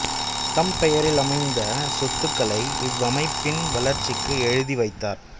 தம் பெயரில் அமைந்த சொத்துகளை இவ்வமைப்பின் வளர்ச்சிக்கு எழுதி வைத்தார்